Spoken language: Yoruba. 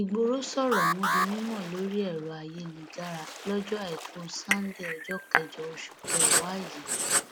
ìgboro sọrọ ọhún di mímọ lórí ẹrọ ayélujára lọjọ àìkú sannde ọjọ kẹjọ oṣù kẹwàá yìí